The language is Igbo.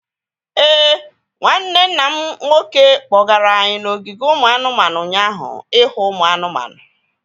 Éè, nwanne nna m nke nwoke kpọgara anyị n'ogige ụmụ anụmanụ ụnyaahụ ihu ụmụ anụmanụ